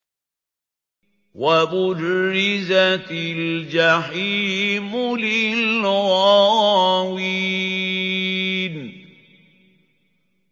وَبُرِّزَتِ الْجَحِيمُ لِلْغَاوِينَ